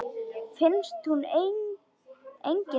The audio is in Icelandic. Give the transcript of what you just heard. Finnst hún engin vera.